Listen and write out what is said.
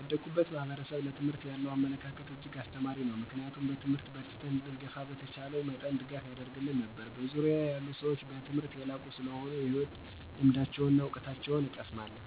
ያደኩበት ማህበረሰብ ለትምህርት ያለው አመለካከት እጅግ አስተማሪ ነው ምክንያቱም በትምህርት በርትተን እንድንገፋ በተቻለው መጠን ድጋፍ ያደርግልን ነበር። በዙርያየ ያሉ ሰዎች በትምህርት የላቁ ሰለሆኑ የህይወት ልምዳቸውና እውቀታቸውን እቀሰማለሁ።